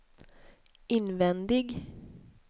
invändig